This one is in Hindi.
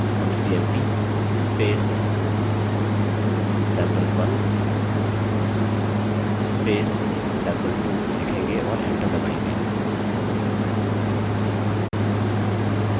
हम cmp sample1 sample2 लिखेंगे और enter दबायेंगे